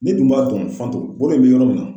N'i dun b'a dɔn Fanto bolo in bɛ yɔrɔ min na.